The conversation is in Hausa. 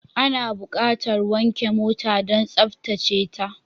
Ana buƙatar wanke mota don tsaftace ta.